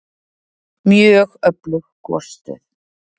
Mjög öflug gosstöð